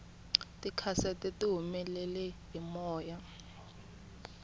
tikhasete tihumele hi moya